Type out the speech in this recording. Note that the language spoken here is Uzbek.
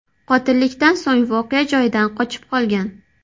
Qotillikdan so‘ng voqea joyidan qochib qolgan.